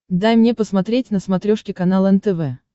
дай мне посмотреть на смотрешке канал нтв